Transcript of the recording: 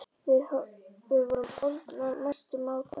Við vorum orðnar mestu mátar.